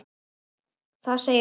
Það segir mikið.